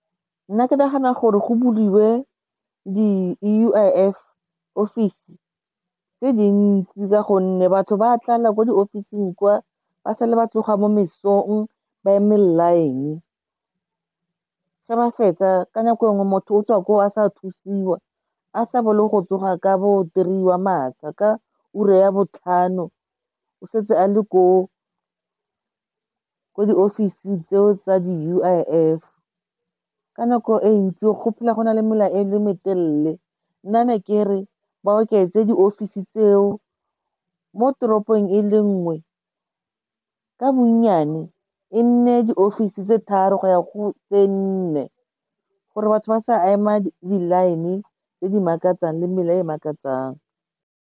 Nna ke nagana gore go buliwe di-U_I_F office tse dintsi ka gonne batho ba tlala ko di ofising kwa, ba sale ba tloga mo mesong ba eme line, ge ba fetsa ka nako e nngwe motho o tswa koo a sa thusiwa, a sa bole go tsoga ka three wa matsha, ka ura ya botlhano o setse a le ko diofising tseo tsa di-U_I_F. Ka nako e ntsi go phela go na le mela e le metelele, nna ne ke re ba oketse diofisi tseo mo toropong e le nngwe, ka bonnyane e nne diofisi tse tharo go ya go tse nne gore batho ba sa ema di-line tse di makatsang le mela e makatsang.